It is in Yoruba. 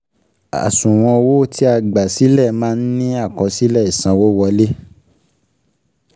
Àṣùwọ̀n owó ti a gbà sílẹ̀ máa ń ní àkọsílẹ̀ ìsanwówọlé.